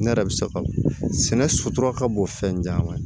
Ne yɛrɛ bɛ se ka sɛnɛ sutura ka bon fɛn caman ye